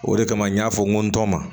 O de kama n y'a fɔ n ko n tɔ ma